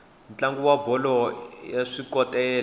ntlangu wa bolo ya swikotela